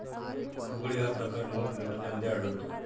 फुगडी हा प्रकार लोक नृत्यामध्ये आढळतो.